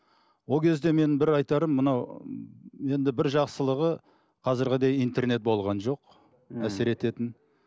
ол кезде мен бір айтарым мынау енді бір жақсылығы қазіргідей интернет болған жоқ ммм әсер ететін